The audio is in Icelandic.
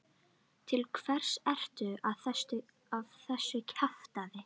Til hvers ertu að þessu kjaftæði?